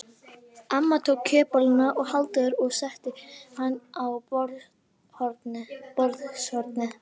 Amma tók kjötbolluna af Halldóri og setti hana á borðshornið.